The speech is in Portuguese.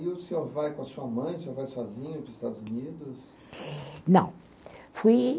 E o senhor vai com a sua mãe, o senhor vai sozinho para os Estados Unidos? Não, fui